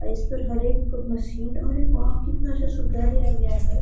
और इसपे हर एक मशीन अरे वाह इतना अच्छा सुविधा दिया गया है ।